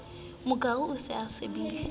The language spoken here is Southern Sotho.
mokuru o se o sibile